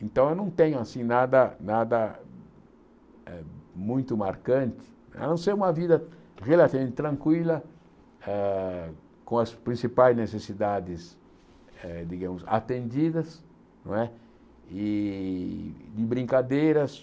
Então, eu não tenho assim nada nada eh muito marcante, a não ser uma vida relativamente tranquila, ah com as principais necessidades, eh digamos, atendidas não é, e brincadeiras.